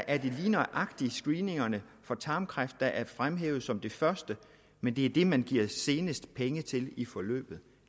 er det lige nøjagtig screeningerne for tarmkræft der er fremhævet som det første men det er det man giver senest penge til i forløbet